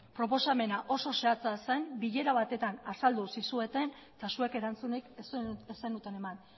proposamena oso zehatza zen bilera batetan azaldu zizueten eta zuek erantzunik ez zenuten eman